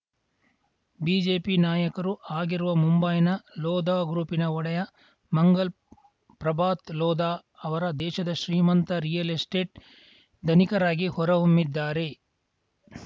BJP ನಾಯಕರೂ ಆಗಿರುವ ಮುಂಬೈನ ಲೋಧಾ ಗ್ರೂಪಿನ ಒಡೆಯ ಮಂಗಲ್‌ ಪ್ರಭಾತ್‌ ಲೋಧಾ ಅವರ ದೇಶದ ಶ್ರೀಮಂತ ರಿಯಲ್‌ ಎಸ್ಟೇಟ್‌ ಧನಿಕರಾಗಿ ಹೊರಹೊಮ್ಮಿದ್ದಾರೆ